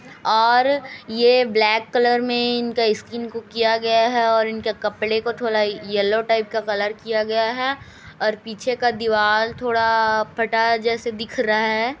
और ये black colour में इनका स्किन को किया गया है और इनके कपड़े को थोड़ा येलो टाईप का कलर किया गया है और पीछे का दीवाल थोड़ा फटा जैसे दिख रहा है।